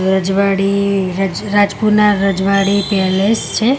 રજવાડી રજ રાજપુના રજવાડી પેલેસ છે.